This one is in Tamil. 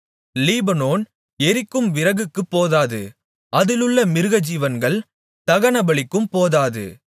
லீபனோன் எரிக்கும் விறகுக்குப் போதாது அதிலுள்ள மிருகஜீவன்கள் தகனபலிக்கும் போதாது